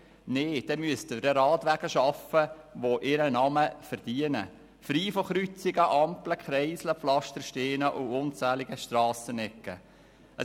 Dann müssten wir Radwege schaffen, die ihren Namen verdienen: frei von Kreuzungen, Ampeln, Kreiseln, Pflastersteinen und unzähligen Strassenecken.